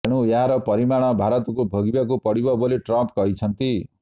ତେଣୁ ଏହାର ପରିଣାମ ଭାରତକୁ ଭୋଗିବାକୁ ପଡିବ ବୋଲି ଟ୍ରମ୍ପ କହିଛନ୍ତି